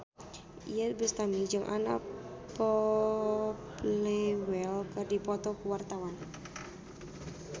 Iyeth Bustami jeung Anna Popplewell keur dipoto ku wartawan